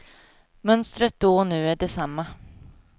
Mönstret då och nu är detsamma.